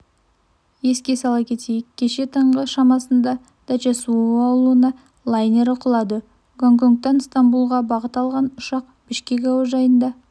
еске сала кетейік кеше таңғы шамасындадача-суу ауылына лайнері құлады гонконгтан ыстанбұлға бағыт алған ұшақ бішкек әуежайында